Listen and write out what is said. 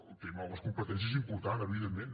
el tema de les competències és important evidentment